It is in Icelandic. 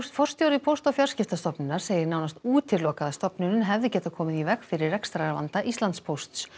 forstjóri Póst og fjarskiptastofnunar segir nánast útilokað að stofnunin hefði getað komið í veg fyrir rekstrarvanda Íslandspósts